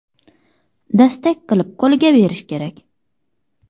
Dastak qilib qo‘liga berishi kerak.